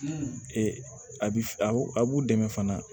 a bi f a b'u dɛmɛ fana